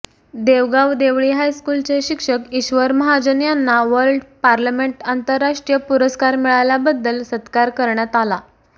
देवगाव देवळी हायस्कूलचे शिक्षक ईश्वर महाजन यांना वर्ल्ड पार्लमेंट आंतरराष्ट्रीय पुरस्कार मिळाल्याबद्दल सत्कार करण्यात आला